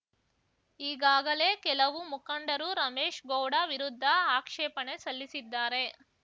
ಈಗಾಗಲೇ ಕೆಲವು ಮುಖಂಡರು ರಮೇಶ್‌ ಗೌಡ ವಿರುದ್ಧ ಆಕ್ಷೇಪಣೆ ಸಲ್ಲಿಸಿದ್ದಾರೆ